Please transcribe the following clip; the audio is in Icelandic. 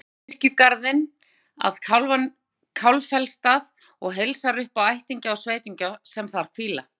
Þórbergur kirkjugarðinn að Kálfafellsstað og heilsar upp á ættingja og sveitunga sem þar hvíla.